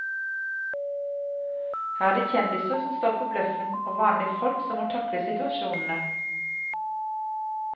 Her er det kjendiser som står for bløffen, og vanlige folk som må takle situasjonene.